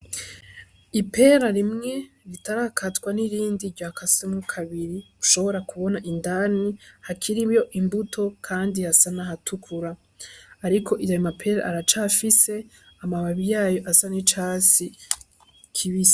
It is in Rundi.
Ipera rimwe ritarakatwa n'irindi ryakaswemwo kabiri, ushobora kubona indani hakiriyo imbuto, kandi hasa n'ahatukura. Ariko ayo mapera aracafise amababi yayo asa n'icatsi kibisi.